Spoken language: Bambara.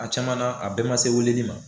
A caman na a bɛɛ ma se weeleli ma